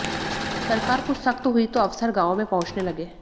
सरकार कुछ सख्त हुई तो अफसर गांवों में पहुंचने लगे